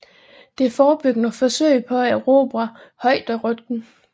Det forebyggede forsøget på at erobre højderyggen